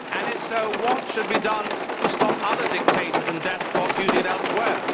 And, if so, what should be done to stop other dictators and despots using it elsewhere